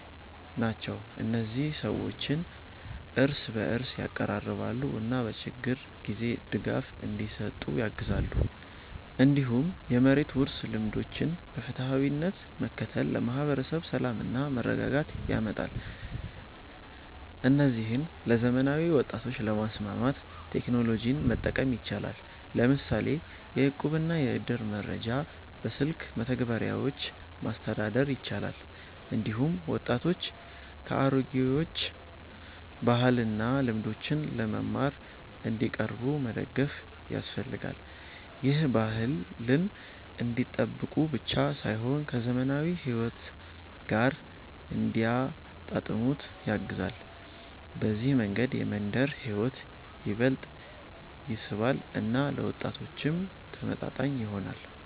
ናቸው። እነዚህ ሰዎችን እርስ በእርስ ያቀራርባሉ እና በችግር ጊዜ ድጋፍ እንዲሰጡ ያግዛሉ። እንዲሁም የመሬት ውርስ ልምዶችን በፍትሃዊነት መከተል ለማህበረሰብ ሰላምና መረጋጋት ያመጣል። እነዚህን ለዘመናዊ ወጣቶች ለማስማማት ቴክኖሎጂን መጠቀም ይቻላል፤ ለምሳሌ የእቁብና የእድር መረጃ በስልክ መተግበሪያዎች ማስተዳደር ይቻላል። እንዲሁም ወጣቶች ከአሮጌዎቹ ባህልና ልምዶች ለመማር እንዲቀርቡ መደገፍ ያስፈልጋል። ይህ ባህልን እንዲጠብቁ ብቻ ሳይሆን ከዘመናዊ ሕይወት ጋር እንዲያጣጣሙት ያግዛል። በዚህ መንገድ የመንደር ሕይወት ይበልጥ ይስባል እና ለወጣቶችም ተመጣጣኝ ይሆናል።